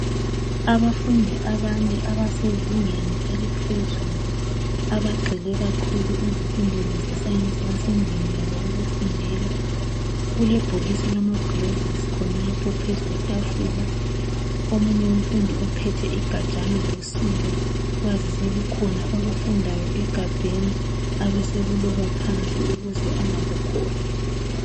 Abafundi abane abasezingeni eliphezulu abagxhile kakhulu ezifundweni ze science basendlini yabo yokufundela kulebhokisi elilama gilovisi khonapho phezulu kwetafula omunye umfundi uphethe igajana losiba kwazise kukhona akufundayo egabheni abesekuloba phansi ukuze angakukhohlwa